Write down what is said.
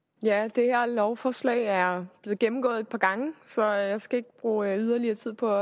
det her lovforslag er blevet gennemgået et par gange så jeg skal ikke bruge yderligere tid på